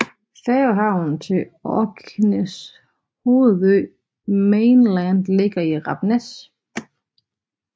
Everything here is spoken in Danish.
Færgehavnen til Orkneys hovedø Mainland ligger i Rapness